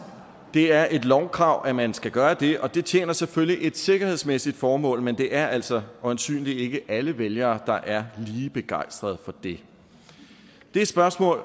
det er et lovkrav at man skal gøre det og det tjener selvfølgelig et sikkerhedsmæssigt formål men det er altså øjensynligt ikke alle vælgere der er lige begejstrede for det det spørgsmål